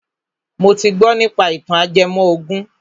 Mo ti gbọ nípa ìtàn ajẹmọ ògùn